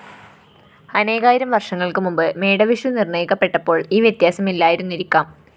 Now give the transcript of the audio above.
അനേകായിരം വര്‍ഷങ്ങള്‍ക്ക് മുമ്പ് മേടവിഷു നിര്‍ണയിക്കപ്പെട്ടപ്പോള്‍ ഈ വ്യത്യാസമില്ലായിരുന്നിരിക്കാം